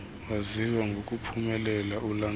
waziwayo ngokuphumelela ulandulo